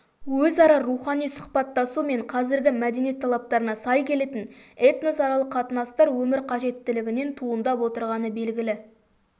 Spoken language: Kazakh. өзара рухани сұхбаттасу мен қазіргі мәдениет талаптарына сай келетін этносаралық қатынастар өмір қажеттілігінен туындап отырғаны белгілі